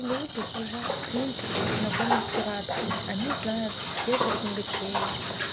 люди уже в принципе знакомы с пиратками они знают те же книгочеи